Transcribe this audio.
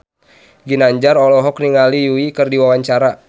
Ginanjar olohok ningali Yui keur diwawancara